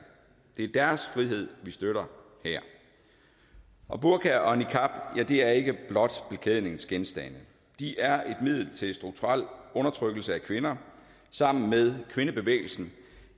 det er deres frihed vi støtter her og burkaer og niqabber er ikke blot beklædningsgenstande de er et middel til strukturel undertrykkelse af kvinder sammen med kvindebevægelsen